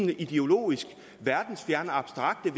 de ideologisk verdensfjernt og abstrakt